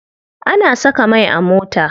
Ana saka mai a mota.